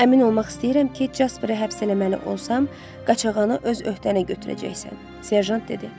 Əmin olmaq istəyirəm ki, Jasperi həbs eləməli olsam, qaçağanı öz öhdənə götürəcəksən, Serjant dedi.